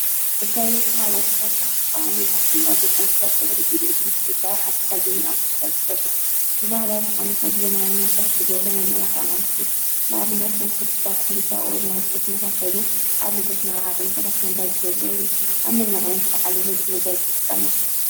መጋየፂ ማለት ደቂ ኣንስትዮ ይኹን ደቂ ተባዓትዮ ካብ ተፈጥራዊ ፅባቀኦም ወፃኢ ዝተፈላለዩ ከም ሰዓት፣ ወርቂ፣ ብሩር ካልኦትን ተጠቂሞም መልክዕ ዝውስኽሎም እዩ።